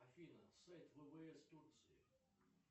афина сайт ввс турции